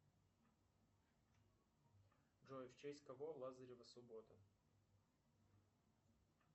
джой в честь кого лазарева суббота